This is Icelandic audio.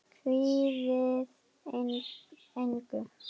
Kvíðið engu!